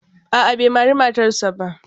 A'a bai mari matarsa ba.